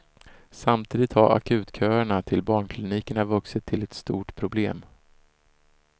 Samtidigt har akutköerna till barnklinikerna vuxit till ett stort problem.